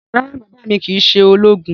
Rárá, baba mi kii ṣe ologun